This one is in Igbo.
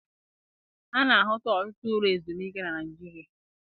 A na-ahụta ọtụtụ ụlọ ezumike na Naịjirịa.